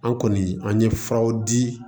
An kɔni an ye furaw di